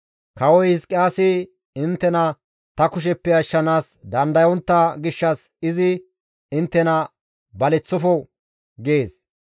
Kawoy, ‹Hizqiyaasi inttena ta kusheppe ashshanaas dandayontta gishshas izi inttena baleththofo› gees.